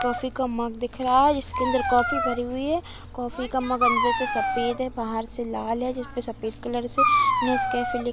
Coffee का mug दिख रहा है। इसके अंदर कॉफ़ी भरी हुई है। कॉफ़ी का मग अंदर से सफ़ेद है बाहर से लाल है जिसपे सफ़ेद कलर से नेस कैफे लि--